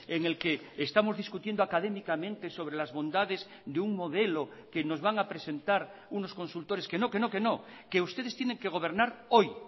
en el que estamos discutiendo académicamente sobre las bondades de un modelo que nos van a presentar unos consultores que no que no que no que ustedes tienen que gobernar hoy